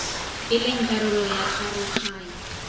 e leng karolo ya karoganyo